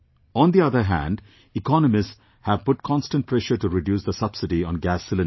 On the other hand, economists have put constant pressure to reduce the subsidy on gas cylinders